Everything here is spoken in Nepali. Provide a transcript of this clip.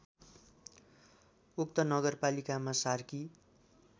उक्त नगरपालिकामा सार्की